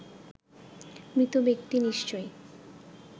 মৃত ব্যক্তি নিশ্চয়